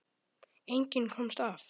Enginn komst af.